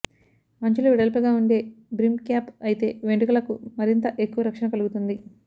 అంచులు వెడల్పుగా ఉండే బ్రిమ్ క్యాప్ అయితే వెంట్రుకలకు మరింత ఎక్కువ రక్షణ కలుగుతుంది